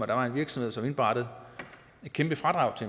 der var en virksomhed som indberettede et kæmpe fradrag